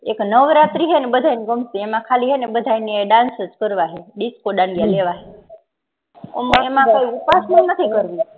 એક નવરાત્રી હેને બધા ગમતી એમાં ખાલી બાધા હે ને dance કરવાહે disco દાંડિયા લેવા હે એમાં કઈ ઊપવાશ નથી કરવી